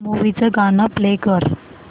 movie चं गाणं play कर